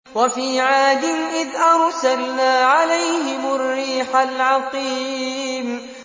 وَفِي عَادٍ إِذْ أَرْسَلْنَا عَلَيْهِمُ الرِّيحَ الْعَقِيمَ